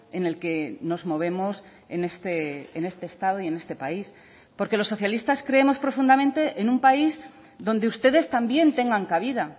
en el que nos movemos en este estado y en este país porque los socialistas creemos profundamente en un país donde ustedes también tengan cabida